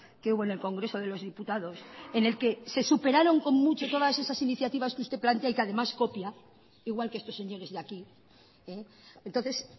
que hubo en el congreso de los diputados en el que se superaron con mucho todas esas iniciativas que usted plantea y que además copia igual que estos señores de aquí entonces